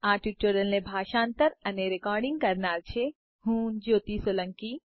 આ ટ્યુટોરીયલને ભાષાંતર કરનાર છે જ્યોતિ સોલંકી